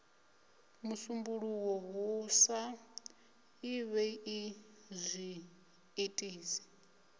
musumbuluwo hu sa ḓivhei zwiitisi